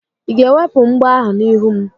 Ị ga-ewepụ mgbo ahụ n'ihu m?